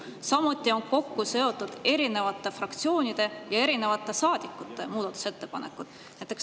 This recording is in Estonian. Samuti on kokku seotud erinevate fraktsioonide ja erinevate saadikute muudatusettepanekud.